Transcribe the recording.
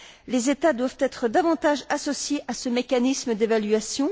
Les États doivent être davantage associés à ce mécanisme d'évaluation.